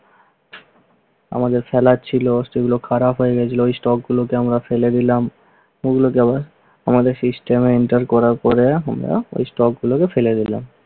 আমাদের সেগুলো খারাপ হয়ে গেছিল stock গুলোকে আমরা ফেলে দিলাম। আমাদের system উদ্ধার করে পরে আমরা stock গুলোকে ফেলে দিলাম।